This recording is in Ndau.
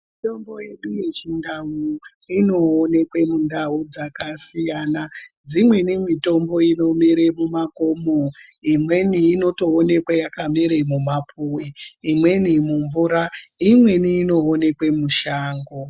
Mitombo yedu yeChiNdau inoonekwe mundau dzakasiyana. Dzimweni mitombo inomere mumakomo, imweni inotoonekwe yakamere mumapuwe, imweni mumvura imweni inoonekwe mushango.